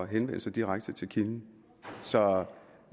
henvende sig direkte til kilden så